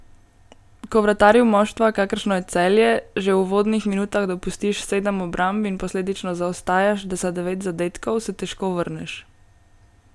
Ko vratarju moštva, kakršno je Celje, že v uvodnih minutah dopustiš sedem obramb in posledično zaostajaš za devet zadetkov, se težko vrneš.